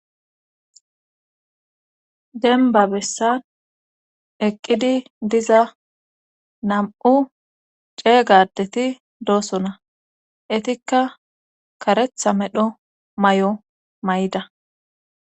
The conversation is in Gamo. Denba bessan eqqidi diza nam7u ceegadeti doosona etikka karetha medho may7o may7da